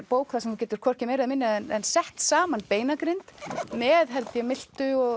bók þar sem þú getur hvorki meira né minna en sett saman beinagrind með held ég milta og